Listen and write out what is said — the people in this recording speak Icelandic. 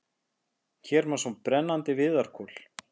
Hér má sjá brennandi viðarkol.